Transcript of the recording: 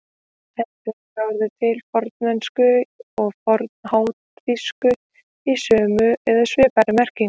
Enn fremur er orðið til í fornensku og fornháþýsku í sömu eða svipaðri merkingu.